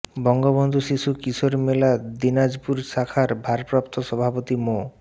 বঙ্গবন্ধু শিশু কিশোর মেলা দিনাজপুর শাখার ভারপ্রাপ্ত সভাপতি মো